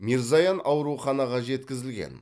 мирзоян ауруханаға жеткізілген